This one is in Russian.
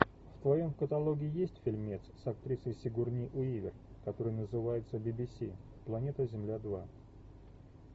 в твоем каталоге есть фильмец с актрисой сигурни уивер который называется би би си планета земля два